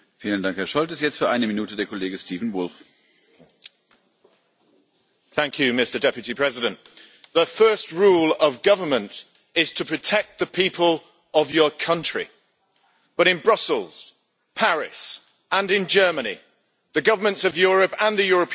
Mr President, the first rule of government is to protect the people of your country, but in Brussels and Paris and in Germany, the governments of Europe and the European Union failed,